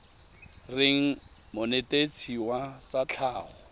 reng monetetshi wa tsa tlhago